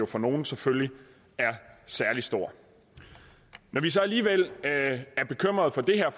for nogle selvfølgelig er særlig stor når vi så alligevel er bekymret for det her